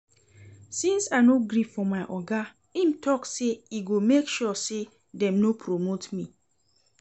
Since I no gree for my oga im talk say e go make sure say dem no promote me